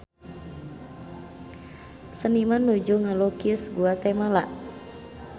Seniman nuju ngalukis Guatemala